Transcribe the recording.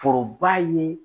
Foroba ye